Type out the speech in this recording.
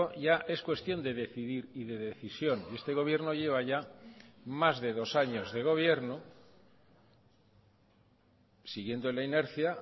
ya es cuestión de decidir y de decisión y este gobierno lleva ya más de dos años de gobierno siguiendo la inercia